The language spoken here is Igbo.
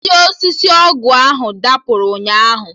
Isi osisi ọgụ ahụ dapụrụ ụnyaahụ